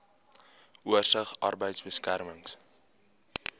oorsig arbeidbeserings